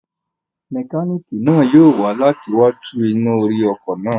Mẹkánìkì náà yóò wá láti wá tún iná orí náà ṣe